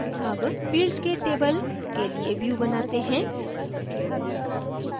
अब fields के table के लिए view बनाते हैं